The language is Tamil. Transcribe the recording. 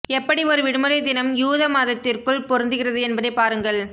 எப்படி ஒரு விடுமுறை தினம் யூத மதத்திற்குள் பொருந்துகிறது என்பதை பாருங்கள்